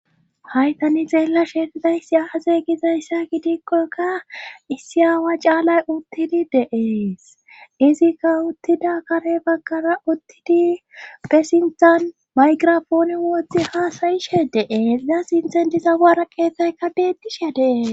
Hayt ani xeella sheefidayssi aaze gizayssa gidikkokka issi aawa caalay uttidi deees izikka uttida kare baggara uttidi bessintan mayqirafooni woothi haasayishe deees daa sinthen dizawara keethaykka beedisha dee.